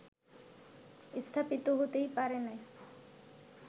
স্থাপিত হতেই পারে না